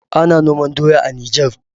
Ana noman doya a Niger.